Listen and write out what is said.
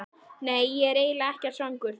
Nei, ég er eiginlega ekkert svangur.